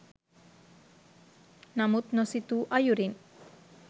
නමුත් නොසිතූ අයුරින්